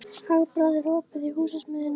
Hagbarður, er opið í Húsasmiðjunni?